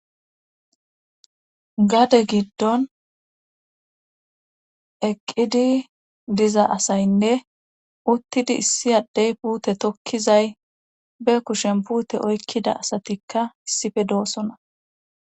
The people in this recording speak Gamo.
Gade giddon eqqidi diza asaynne uttidi issi addey puute tokkizay be kushen puute oykkida asatikka issife doosona